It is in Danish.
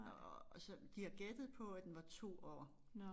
Og så de har gættet på at den var 2 år